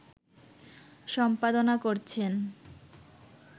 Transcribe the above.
সম্পাদনা করছেন